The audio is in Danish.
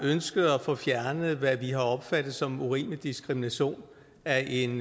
ønsket at få fjernet hvad vi har opfattet som urimelig diskrimination af en